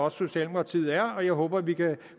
at socialdemokratiet er og jeg håber at vi kan